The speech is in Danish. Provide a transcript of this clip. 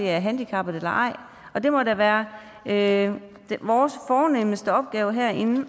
er handicappet eller ej og det må da være være vores fornemste opgave herinde